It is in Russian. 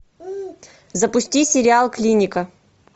запусти сериал клиника